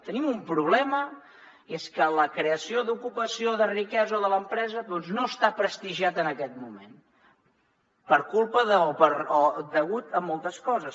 tenim un problema i és que la creació d’ocupació de riquesa de l’empresa no està prestigiada en aquest moment per culpa o degut a moltes coses